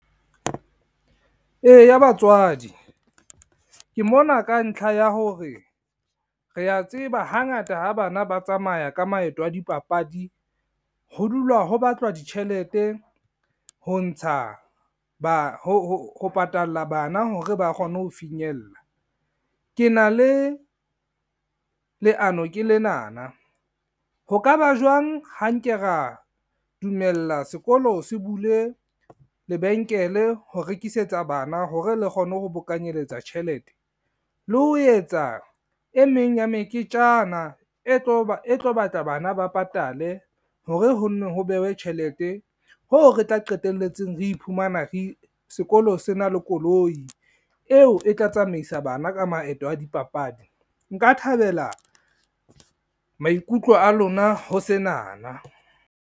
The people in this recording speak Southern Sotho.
Eya batswadi, ke mona ka ntlha ya hore rea tseba hangata ha bana ba tsamaya ka maeto a dipapadi, ho dulwa ho batlwa ditjhelete ho patalla bana hore ba kgone ho finyella. Ke na le, leano ke lenana ho ka ba jwang ha nke ra dumella sekolo se bule lebenkele ho rekisetsa bana hore le kgone ho bokanyeletsa tjhelete. Le ho etsa e meng ya meketjana e tlo batla bana ba patale hore ho no ho bewe tjhelete, hoo re tla qetelletseng re iphumana sekolo se na le koloi, eo e tla tsamaisa bana ka maeto a dipapadi. Nka thabela maikutlo a lona ho senana.